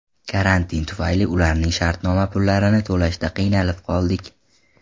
Karantin tufayli ularning shartnoma pullarini to‘lashda qiynalib qoldik.